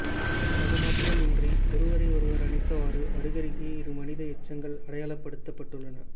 அது மாத்திரம் இன்றி ஒருவரை ஒருவர் அணைத்தவாறு அருகருகே இரு மனித எச்சங்கள் அடையாளப்படுத்தப்பட்டுள்ளன